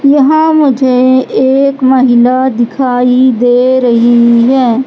यहां मुझे एक महिला दिखाई दे रही है।